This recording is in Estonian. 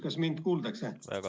Kas mind kuuldakse?